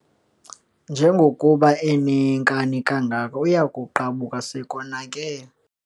Njengokuba eneenkani kangaka, uya kuqabuka sekonakele.